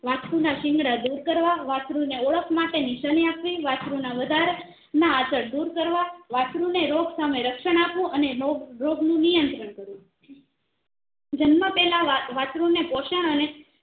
વસ્ત્રુ ના સીંગડા દૂર કરવા વસ્ત્રુ ને ઓળખ માટે નિશાની અપાવી વસ્ત્રુ ના વધતા ના આંચળ દૂર કરવા વસ્ત્રુ ને રોગ સામે રક્ષણ આપવું અને રોગ રોગ નું નિયંત્રણ કરવું જન્મ પેહેલા વા વસ્ત્રુ ને પોષણ